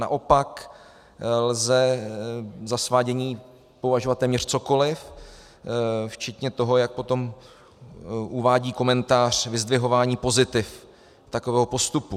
Naopak lze za svádění považovat téměř cokoliv včetně toho, jak potom uvádí komentář, vyzdvihování pozitiv takového postupu.